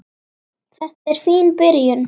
Þetta er fín byrjun.